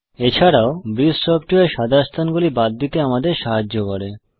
এছাড়াও ব্রিস সফ্টওয়্যার সাদা স্থানগুলি বাদ দিতে আমাদের সাহায্য করে